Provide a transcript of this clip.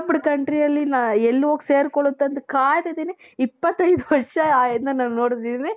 developed countryಯಲ್ಲಿ ನಾ ಎಲ್ಲಿ ಹೋಗಿ ಸೇರಿಕೊಳ್ಳುತ್ತೆ ಅಂತ ನಾನು ಕಾಯ್ತಾ ಇದ್ದೀನಿ ಇಪ್ಪತ್ತೈದು ವರ್ಷ ನಾನು ನೋಡಿದ್ದೀವ್ರಿ